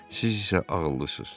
Siz isə ağıllısız.